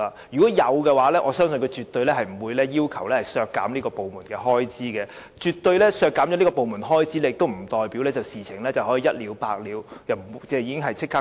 若有，相信他們絕對不會要求削減這個部門的開支，即使削減了部門開支，亦不代表事情便可以一了百了，立即獲得解決。